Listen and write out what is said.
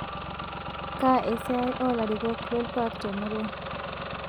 Kaa esiai oo larikok lolkuak te murua